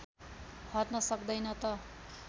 हट्न सक्दैन त